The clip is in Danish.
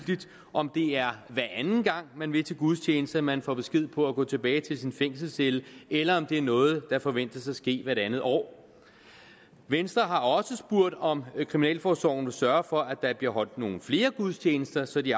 om det er hver anden gang man vil til gudstjeneste man får besked på at gå tilbage til sin fængselscelle eller om det er noget der forventes at ske hvert andet år venstre har også spurgt om kriminalforsorgen vil sørge for at der bliver holdt nogle flere gudstjenester så de